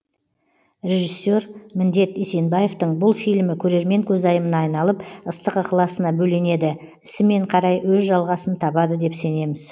режиссер міндет есенбаевтың бұл фильмі көрермен көзайымына айналып ыстық ықыласына бөленеді ісімен қарай өз жалғасын табады деп сенеміз